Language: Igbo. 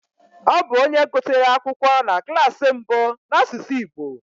Ọ bụ onye gụsịrị akwụkwọ na klas mbụ n'asụsụ Igbo